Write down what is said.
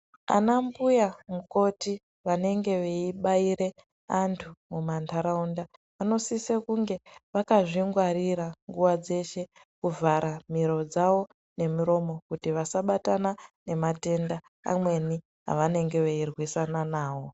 Ana mbuya mukoti vanenge veibaira antu mumandaraunda vanosisa kunge vakazvingwarira nguwa dzeshe kuvhara miro dzavo nemuromo kuti vasabatana nematenda amweni avanenge veirwisina nawo.